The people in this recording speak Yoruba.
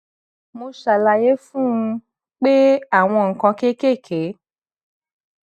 mo ṣàlàyé fún un pé àwọn nǹkan kéékèèké